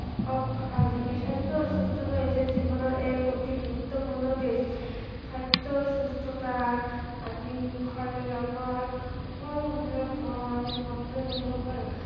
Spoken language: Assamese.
সৱ ভাল থাকে, স্ৱাস্থ্য় আৰু সুস্থতা হৈছে জীৱনৰ এক অতি গুৰুত্ৱপূৰ্ণ দিশ, খাদ্য় সুস্থতা আদি খালে আমাৰ সকলোবিলাক কাম আমি সহজে কৰিব পাৰো